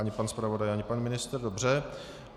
Ani pan zpravodaj, ani pan ministr, dobře.